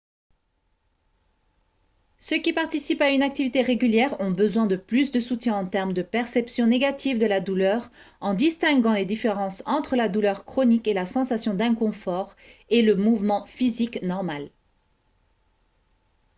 ceux qui participent à une activité régulière ont besoin de plus de soutien en termes de perception négative de la douleur en distinguant les différences entre la douleur chronique et la sensation d'inconfort et le mouvement physique normal